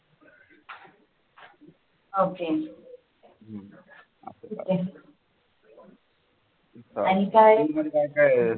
okay आणि काय